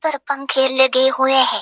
पर पंखे लगे हुए हैं।